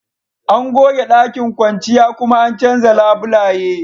An goge ɗakin kwanciya kuma an canza labulaye